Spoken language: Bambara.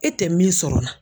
E tɛ min sɔrɔ la